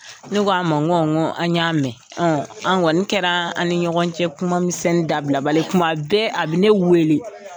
Ne ko a man n ko n ko an y'a mɛn. A kɔnni kɛra an ni ɲɔgɔn cɛ kuma misɛnni dabila bali ye. Kuma bɛɛ a bɛ ne wele.